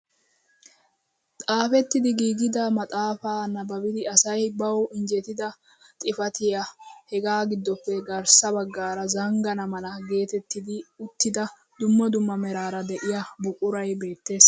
Xaafettidi giigida maxaafaa nababiidi asay bawu injjetida xifatiyaa hegaa giddoppe garssa baggaara zanggana mala getettidi uttida dumma dumma merara de'iyaa buquray beettees!